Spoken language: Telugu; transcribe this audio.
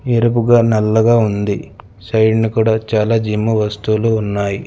ఎరుపుగా నల్లగా ఉంది సైడ్ ను కూడా చాలా జిమ్ వస్తువులు ఉన్నాయి.